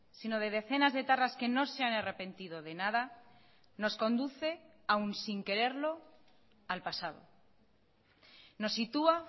sino de decenas de etarras que no se han arrepentido de nada nos conduce a un sin quererlo al pasado nos sitúa